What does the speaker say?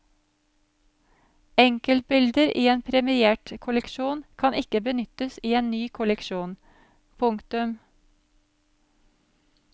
Enkeltbilder i en premiert kolleksjon kan ikke benyttes i en ny kolleksjon. punktum